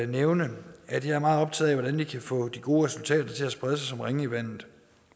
nævne at jeg er meget optaget af hvordan vi kan få de gode resultater til at sprede sig som ringe i vandet